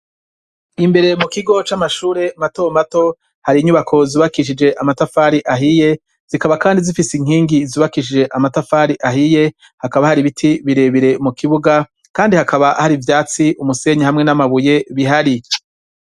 Imbere mu kigo c'amashure mato mato hari inyubako zubakishije amatafari ahiye zikaba kandi zifise inkingi zubakishije amatafari ahiye hakaba hari biti bire bire mu kibuga kandi hakaba hari ivyatsi umusenyi hamwe n'amabuye bihari.